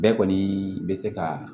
Bɛɛ kɔni bɛ se ka